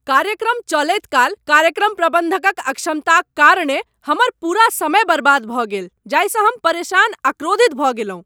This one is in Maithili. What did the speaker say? कार्यक्रम चलैत काल कार्यक्रम प्रबन्धकक अक्षमताक कारणेँ हमर पूरा समय बर्बाद भऽ गेल जाहिसँ हम परेशान आ क्रोधित भऽ गेलहुँ।